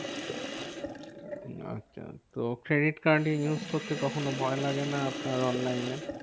আচ্ছা, তো credit card use করতে কখনও ভয় লাগে না আপনার online এ?